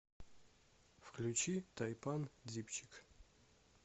включи тайпан дипчик